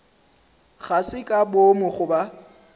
ga se ka boomo goba